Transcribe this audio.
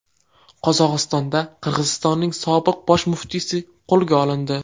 Qozog‘istonda Qirg‘izistonning sobiq bosh muftiysi qo‘lga olindi.